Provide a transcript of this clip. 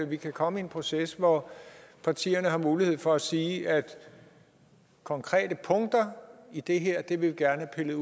vi kan komme i en proces hvor partierne har mulighed for at sige at konkrete punkter i det her vil vi gerne